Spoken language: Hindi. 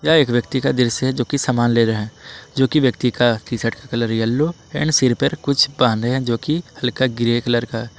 यह एक व्यक्ति का दृश्य है जोकि सामान ले रहे हैं जोकि व्यक्ति की टी शर्ट का कलर येलो एंड सिर पर कुछ बांधे है जोकि हल्का ग्रे कलर का है।